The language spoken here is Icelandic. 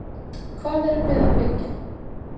Hvað erum við að byggja?